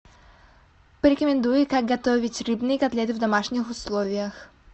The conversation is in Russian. порекомендуй как готовить рыбные котлеты в домашних условиях